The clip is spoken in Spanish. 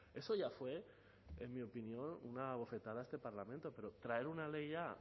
eso ya fue en mi opinión una bofetada a este parlamento pero traer una ley ya